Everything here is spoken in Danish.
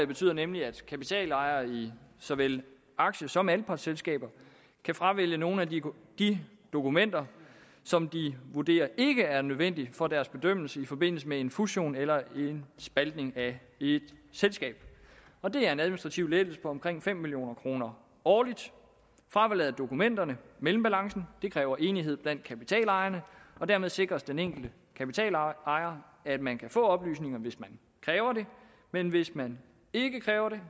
betyder nemlig at kapitalejere i såvel aktie som anpartsselskaber kan fravælge nogle af de de dokumenter som de vurderer ikke er nødvendige for deres bedømmelse i forbindelse med en fusion eller en spaltning af et selskab og det er en administrativ lettelse på omkring fem million kroner årligt fravalget af dokumenterne mellembalancen kræver enighed blandt kapitalejerne og dermed sikres den enkelte kapitalejer at man kan få oplysninger hvis man kræver det men hvis man ikke kræver det